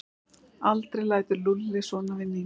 Aldrei lætur Lúlli svona við Nínu!